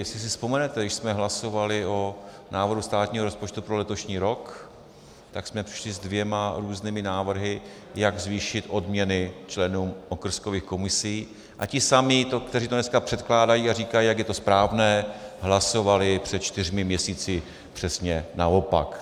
Jestli si vzpomenete, když jsme hlasovali o návrhu státního rozpočtu pro letošní rok, tak jsme přišli se dvěma různými návrhy, jak zvýšit odměny členům okrskových komisích, a ti samí, kteří to dneska předkládají a říkají, jak je to správné, hlasovali před čtyřmi měsíci přesně naopak.